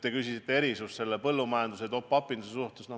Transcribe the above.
Te küsisite erandite kohta põllumajanduses ja top-up'i puhul.